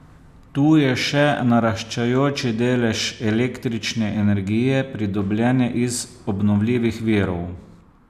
Tu je še naraščajoči delež električne energije pridobljene iz obnovljivih virov.